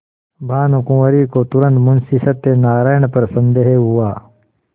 भानुकुँवरि को तुरन्त मुंशी सत्यनारायण पर संदेह हुआ